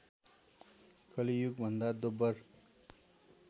कलि युगभन्दा दोब्बर